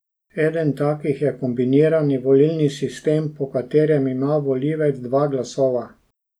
Eden takih je kombinirani volilni sistem, po katerem ima volivec dva glasova.